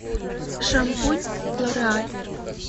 шампунь лореаль